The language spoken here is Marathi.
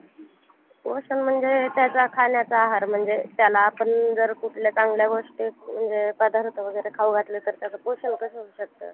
खूप hard राहते ती CA ची exam